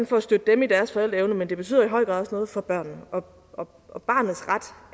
for at støtte dem i deres forældreevne men det betyder i høj grad også noget for børnene og og barnets ret